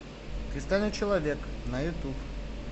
кристальный человек на ютуб